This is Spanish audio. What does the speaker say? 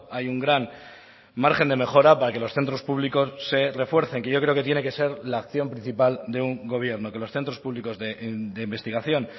hay un gran margen de mejora para que los centros públicos se refuercen que yo creo que tiene que ser la acción principal de un gobierno que los centros públicos de investigación